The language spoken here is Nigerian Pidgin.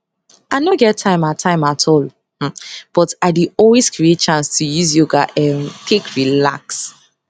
i nor get time at time at all um but i dey always create chance to use yoga um take relax